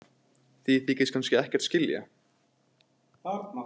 Þið þykist kannski ekkert skilja?